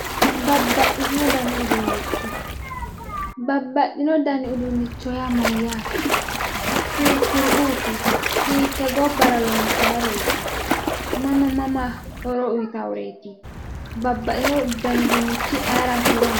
babbaxxino dani uduunnicho babbaxxino dani uduunnicho yaa mayyaate hiikkuriuuti hiittee gobbara loonsayireeti mama mama horo uyiitawooreeti babbaxxino dani uduunnichi ayiiraati horo aannoho.